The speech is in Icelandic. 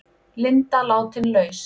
Linda látin laus